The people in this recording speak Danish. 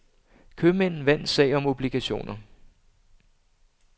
Købmænd vandt sag om obligationer.